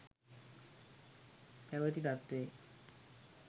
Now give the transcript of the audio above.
පැවති තත්වයේ